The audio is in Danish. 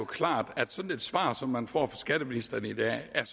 klart at sådan et svar som man får fra skatteministeren i dag er